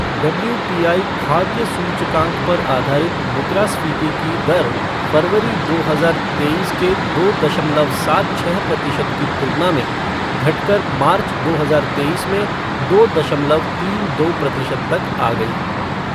WPI खाद्य सूचकांक पर आधारित मुद्रास्फीति की दर फ़रवरी, दो हजार तेईस के दो दशमलव सात छः प्रतिशत की तुलना में घट़कर मार्च, दो हजार तेईस में दो दशमलव तीन दो प्रतिशत तक आ गई।